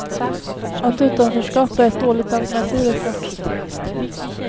Att utanförskap är ett dåligt alternativ är klart.